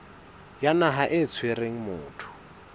ya naha e tshwereng motho